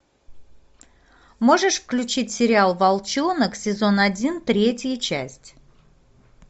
можешь включить сериал волчонок сезон один третья часть